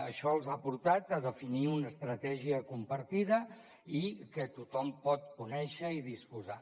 això els ha portat a definir una estratègia compartida i que tothom pot conèixer i disposar